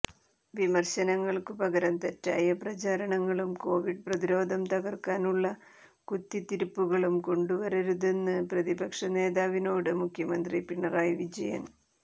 വിമര്ശനങ്ങള്ക്കു പകരം തെറ്റായ പ്രചാരണങ്ങളും കൊവിഡ് പ്രതിരോധം തകര്ക്കാനുള്ള കുത്തിത്തിരിപ്പുകളും കൊണ്ടുവരരുതെന്ന് പ്രതിപക്ഷ നേതാവിനോട് മുഖ്യമന്ത്രി പിണറായി വിജയന്